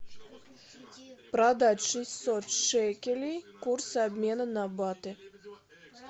продать шестьсот шекелей курсы обмена на баты